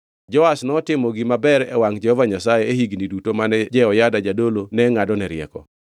Joash notimo gima ber e wangʼ Jehova Nyasaye e higni duto mane Jehoyada jadolo ne ngʼadone rieko.